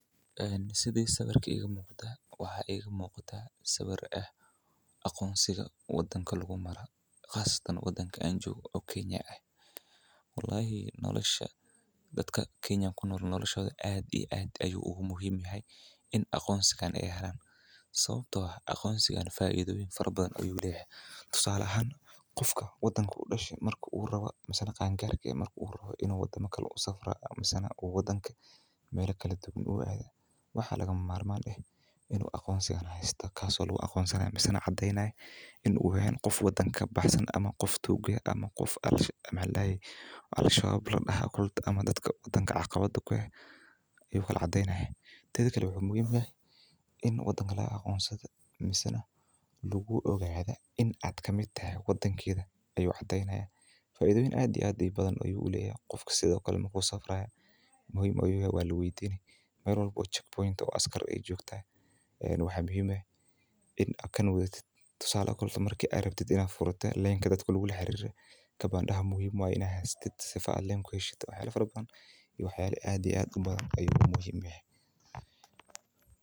Sidi sawiirka iiga muuqada waxaa ii muuqada aqoonsi wadada lagu Maro dalka kenya sait ayeey muhiim utahay in la isticmaalaa wadanka dexdiisa tusaale ahaan hadii uu qofka rabo inuu neel gaaro in lagu ogado inaad kamid tahay muwadininta qofka marka uu safraayo marka aad keen furaneysid waa inaad haysato waxyaana badan ayaa muhiim utahay in laga haysto.